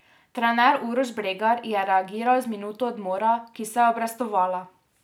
Trener Uroš Bregar je reagiral z minuto odmora, ki se je obrestovala.